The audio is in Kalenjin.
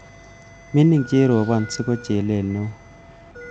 Mining cherobon siko chelel neo